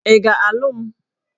Ị ga-alụ m?